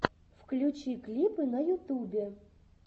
включи клипы на ютубе